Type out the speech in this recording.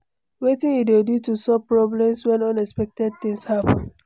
Wetin you dey do to solve problems when unexpected thing happen?